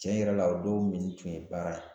Tiɲɛ yɛrɛ la o don minni tun ye baara ye